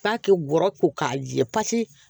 F'a kɛ bɔrɔ ko k'a jɛ pasi